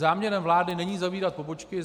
Záměrem vlády není zavírat pobočky.